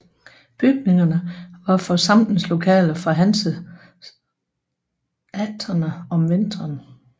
Bygningerne var forsamlingslokaler for hanseaterne om vinteren